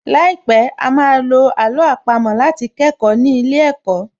Láìpẹ̀, á á ma lo àló àpamọ́ láti kẹ́kọ̀ọ́ ní ilé ẹ̀kọ́